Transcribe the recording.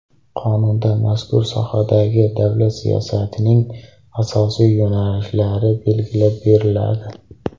Qonunda mazkur sohadagi davlat siyosatining asosiy yo‘nalishlari belgilab beriladi.